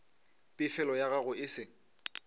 pefelo ya gago e se